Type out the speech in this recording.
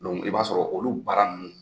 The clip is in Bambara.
Dɔnku i b'a sɔrɔ olu baara ninnu